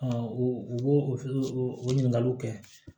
u b'o o ɲininkaliw kɛ